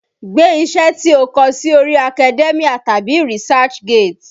Gbé iṣẹ́ tí ó kọ sí orí Academia tàbí Research gate!